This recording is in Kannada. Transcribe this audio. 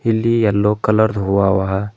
ಇಲ್ಲಿ ಎಲ್ಲೋ ಕಲರ್ ಹೂವ ಆವ.